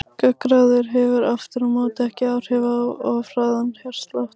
Gangráður hefur aftur á móti ekki áhrif á of hraðan hjartslátt.